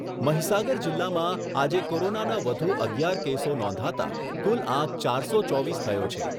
મહિસાગર જીલ્લામાં આજે કોરોનાના વધુ અગિયાર કેસો નોંધાતા કુલ આંક ચારસો ચોવીસ થયો છે.